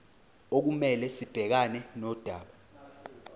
okumele sibhekane nodaba